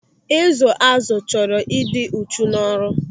Ịzụ àzụ chọrọ ịdị uchu n'ọrụ.